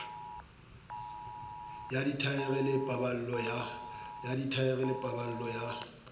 ya dithaere ke paballo ya